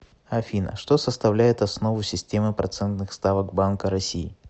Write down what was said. афина что составляет основу системы процентных ставок банка россии